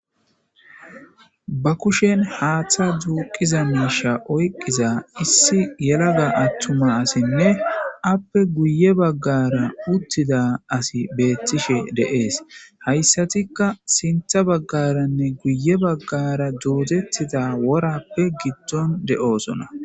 Ba kushen haaththa duuqiza miisha oyqqiza issi yelaga attuma asinne appe guye baggara uttida asi beettishe deees hayssatikka sintha baggaranne guye baggara doodettida worappe gidton de7oosona